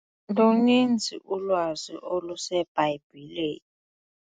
Luninzi ulwazi oluseBhayibhileni.